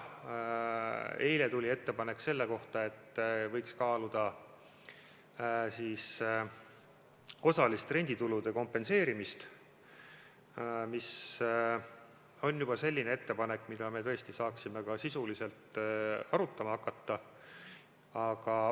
Eile tuli ettepanek, et võiks kaaluda osalist renditulude kompenseerimist, mis on juba selline ettepanek, mida me saaksime ka sisuliselt arutama hakata.